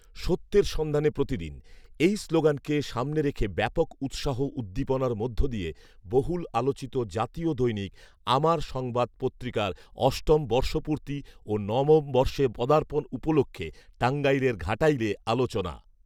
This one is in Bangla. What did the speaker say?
"সত্যের সন্ধানে প্রতিদিন” এই স্লোগানকে সামনে রেখে ব্যপক উৎসাহ উদ্দীপনার মধ্য দিয়ে বহুল আলোচিত জাতীয় দৈনিক আমার সংবাদ পত্রিকার অষ্টম বর্ষপূর্তি ও নবম বর্ষে পদার্পণ উপলক্ষে টাঙ্গাইলের ঘাটাইলে আলোচনা